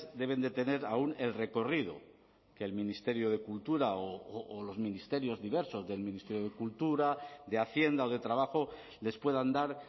deben de tener aún el recorrido que el ministerio de cultura o los ministerios diversos del ministerio de cultura de hacienda o de trabajo les puedan dar